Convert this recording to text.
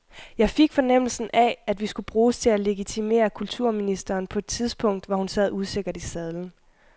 Jeg fik fornemmelsen af, at vi skulle bruges til at legitimere kulturministeren på et tidspunkt, hvor hun sad usikkert i sadlen.